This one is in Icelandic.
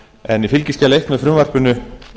en í fylgiskjali eins með frumvarpinu